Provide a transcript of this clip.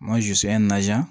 Ma zuya